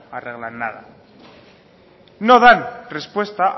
arreglan nada no dan respuesta